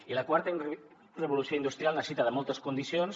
i la quarta revolució industrial necessita moltes condicions